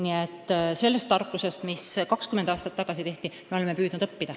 Aga sellest tarkusest, millega süsteem 20 aastat tagasi tehti, me oleme püüdnud õppida.